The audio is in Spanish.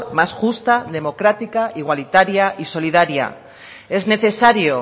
más justa democrática igualitaria y solidaria es necesario